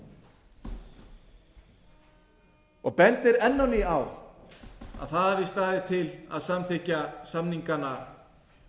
fyrirvara og bendir enn á ný á að það hafi staðið til að samþykkja samningana